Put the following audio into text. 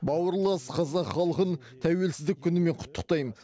бауырлас қазақ халқын тәуелсіздік күнімен құттықтаймын